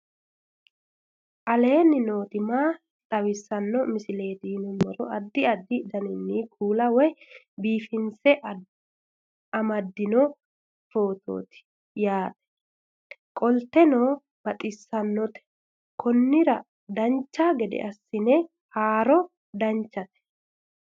aleenni nooti maa xawisanno misileeti yinummoro addi addi dananna kuula woy biinsille amaddino footooti yaate qoltenno baxissannote konnira dancha gede assine haara danchate